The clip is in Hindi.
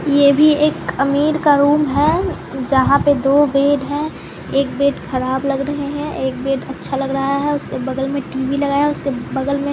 यह भी एक अमीर का रूम है जहां पे दो बेड है एक बेड खराब लग रहा है एक बेड अच्छा लग रहा है उसके बगल में टी_वी लगाया है उसके बगल मैं--